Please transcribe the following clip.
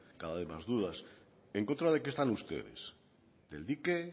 cada vez más dudas en contra de qué están ustedes del dique